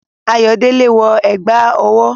Ayodele wọ ẹ̀gbà ọwọ́.